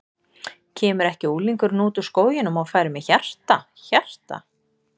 Kemur ekki unglingurinn út úr skóginum og færir mér hjarta, hjarta.